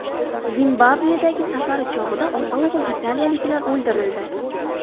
Zimbabvedagi safari bog‘ida ota-o‘g‘il italiyaliklar o‘ldirildi.